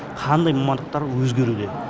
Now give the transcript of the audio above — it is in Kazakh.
қандай мамандықтар өзгеруде